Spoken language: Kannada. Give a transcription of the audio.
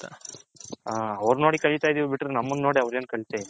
ಅವರ ನೋಡಿ ಕಲಿತೈದಿವಿ ಬಿಟ್ರೆ ನಮ್ಮನು ನೋಡಿ ಅವರು ಏನು ಕಲಿತೈಲ.